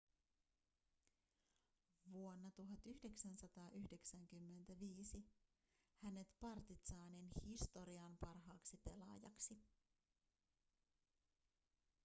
vuonna 1995 hänet partizanin historian parhaaksi pelaajaksi